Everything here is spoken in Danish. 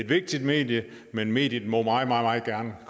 vigtigt medie men mediet må meget meget gerne